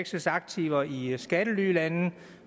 sachs aktiver i skattelylande